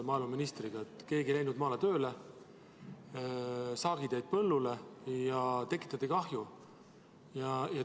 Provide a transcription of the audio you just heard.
Keegi ei läinud maale tööle, saak jäi põllule ja tekitati kahju.